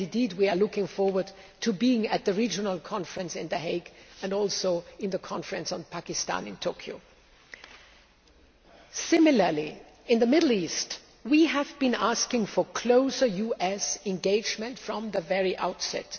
We are looking forward to being at the regional conference in The Hague and also at the conference on Pakistan in Tokyo. Similarly, in the Middle East we have been asking for closer US engagement from the very outset.